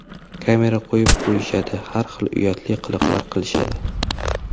Kamera qo‘yib qo‘yishadi, har xil uyatli qiliqlar qilishadi.